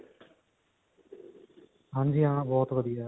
ਹਾਂਜੀ ਹਾ ਬਹੁਤ ਵਧੀਆ ਹੈ